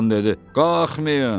Qalxmayın!